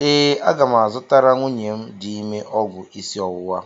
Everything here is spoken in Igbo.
Ee, aga m azụtara nwunye m dị ime ọgwụ isi ọwụwa.